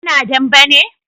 su na dambe ne?